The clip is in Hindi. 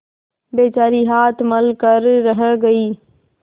बेचारी हाथ मल कर रह गयी